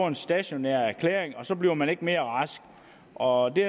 en stationær erklæring og så bliver man ikke mere rask og det